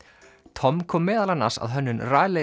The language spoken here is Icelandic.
Tom kom meðal annars að hönnun